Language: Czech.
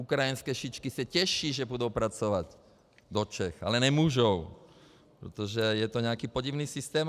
Ukrajinské šičky se těší, že půjdou pracovat do Čech, ale nemůžou, protože je to nějaký podivný systém.